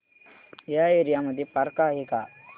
या एरिया मध्ये पार्क आहे का